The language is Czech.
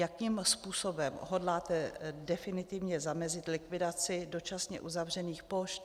Jakým způsobem hodláte definitivně zamezit likvidaci dočasně uzavřených pošt?